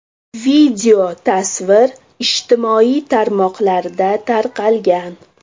Video tasvir ijtimoiy tarmoqda tarqalgan.